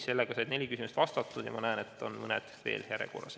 Sellega said neli küsimust vastatud ja ma näen, et mõned on veel järjekorras.